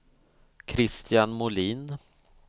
Christian Molin